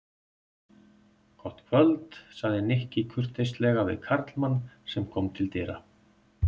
Gott kvöld sagði Nikki kurteislega við karlmann sem kom til dyra.